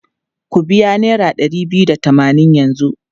Ku biya naira ɗari da tamanin yanzu!